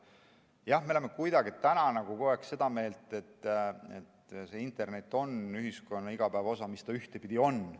Jah, me oleme kuidagi nagu kogu aeg seda meelt, et internet on ühiskonna igapäevaosa, mida ta ühtepidi ongi.